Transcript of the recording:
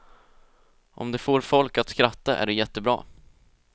Om det får folk att skratta är det jättebra.